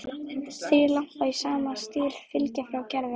Þrír lampar í sama stíl fylgja frá Gerði.